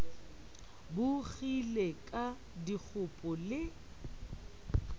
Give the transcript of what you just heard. bo kgile ka dikgopo le